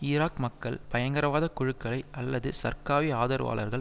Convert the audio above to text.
Iraq மக்கள் பயங்கரவாத குழுக்களை அல்லது சர்காவி ஆதரவாளர்கள்